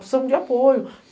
Precisamos de apoio.